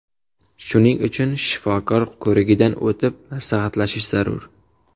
Shuning uchun shifokor ko‘rigidan o‘tib, maslahatlashish zarur.